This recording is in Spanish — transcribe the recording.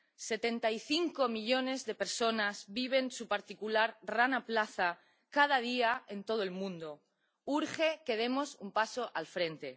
Setenta y cinco millones de personas viven su particular Rana Plaza cada día en todo el mundo urge que demos un paso al frente.